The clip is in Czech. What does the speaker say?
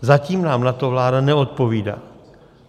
Zatím nám na to vláda neodpovídá.